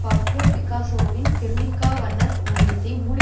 Pablo பிக்காசோவின் Guernica வண்ண ஓவியத்தை மூடி